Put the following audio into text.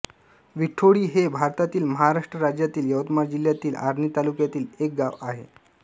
विठोळी हे भारतातील महाराष्ट्र राज्यातील यवतमाळ जिल्ह्यातील आर्णी तालुक्यातील एक गाव आहे